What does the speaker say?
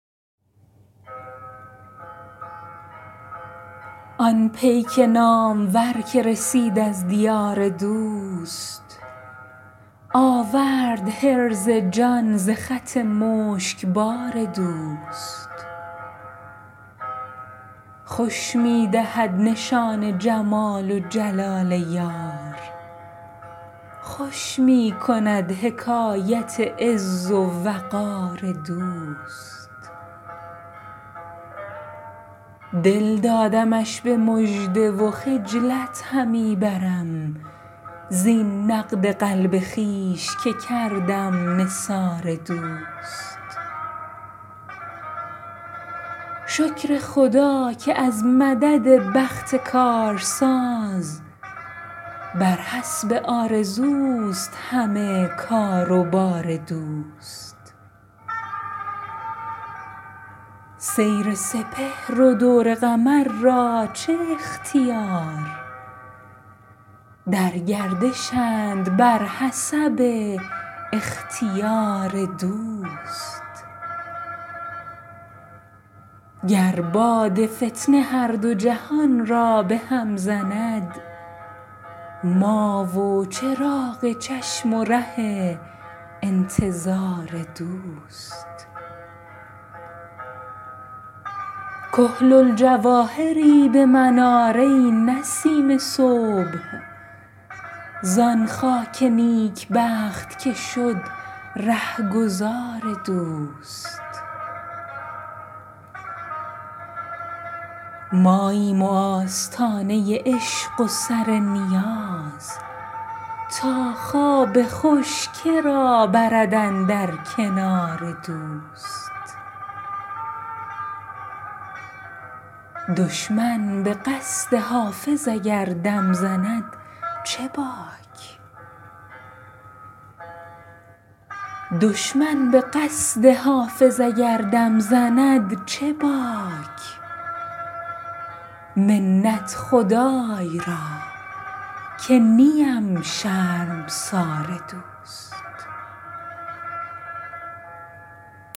آن پیک نامور که رسید از دیار دوست آورد حرز جان ز خط مشکبار دوست خوش می دهد نشان جلال و جمال یار خوش می کند حکایت عز و وقار دوست دل دادمش به مژده و خجلت همی برم زین نقد قلب خویش که کردم نثار دوست شکر خدا که از مدد بخت کارساز بر حسب آرزوست همه کار و بار دوست سیر سپهر و دور قمر را چه اختیار در گردشند بر حسب اختیار دوست گر باد فتنه هر دو جهان را به هم زند ما و چراغ چشم و ره انتظار دوست کحل الجواهری به من آر ای نسیم صبح زان خاک نیکبخت که شد رهگذار دوست ماییم و آستانه عشق و سر نیاز تا خواب خوش که را برد اندر کنار دوست دشمن به قصد حافظ اگر دم زند چه باک منت خدای را که نیم شرمسار دوست